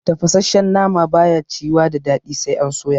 Tafasashshen nama ba ya ciyuwa da daɗi sai an soya